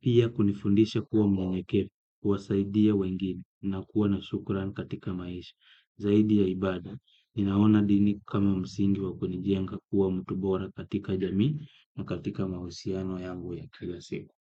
Pia kunifundisha kuwa mwenyekevu, kuwasaidia wengine na kuwa na shukrani katika maisha. Zaidi ya ibada, ninaona dini kama msingi wa kunijenga kuwa mtu bora katika jamii na katika mahusiano yangu ya kila siku.